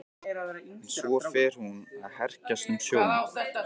En svo fer hún að hrekjast um sjóinn.